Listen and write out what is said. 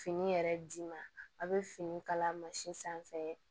Fini yɛrɛ d'i ma a bɛ fini kala sanfɛ